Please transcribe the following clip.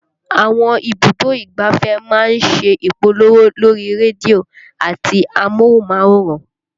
Àwọn ibùdó ìgbáfẹ́ máa ń ṣe ìpolówó lórí rédíò àti amóhùnmáwòrán